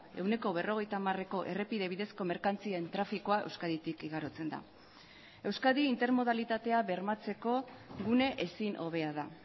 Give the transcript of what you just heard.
ehuneko berrogeita hamareko errepide bidezko merkantzien trafikoa euskaditik igarotzen da euskadi intermodalitatea bermatzeko gune ezin hobea da